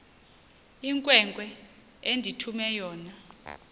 inkwenkwe endithume yona